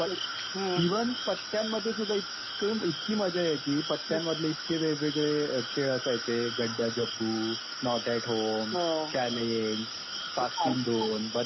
Even पत्त्यांमध्ये सुद्धा इतकी मजा यायची. पत्यामध्ये इतके वेगवेगळे खेळ असायचे गड्डया जब्बू, नॉट अॅट होम, चॅलेंज, पाच तीन दोन, बदाम सात,